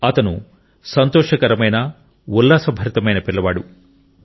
అతను సంతోషకరమైన ఉల్లాసభరితమైన పిల్లవాడు